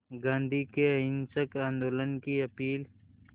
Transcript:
गांधी के अहिंसक आंदोलन की अपील